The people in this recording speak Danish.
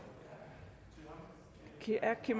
er det